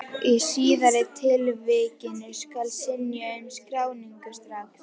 Í síðari tilvikinu skal synja um skráningu strax.